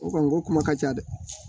O kɔni ko kuma ka ca dɛ